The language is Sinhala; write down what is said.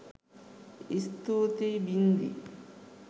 ස්තුතියි බින්දි